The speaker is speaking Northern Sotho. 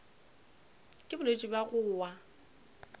ke bolwetši bja go wa